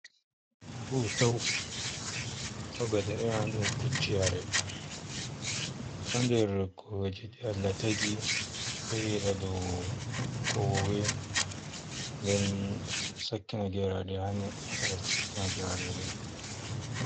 Tahutau ko ɓe ɗo iyona dum pucci yare don nder kojeji ALLAH tagi do yeda do kowowe nden sakena geraɗe wasa ngaska sakkena geraɗe rima.